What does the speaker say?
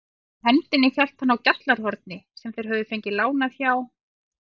Í hendinni hélt hann á GJALLARHORNI sem þeir höfðu fengið lánað hjá